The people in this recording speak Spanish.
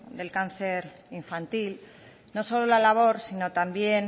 del cáncer infantil no solo la labor sino también